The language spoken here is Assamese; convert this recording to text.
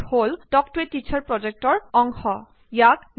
যি সকলে অনলাইন টেস্টখনত পাচ কৰিব তেওঁলোকক চাৰ্টিফিকেট প্ৰদান কৰক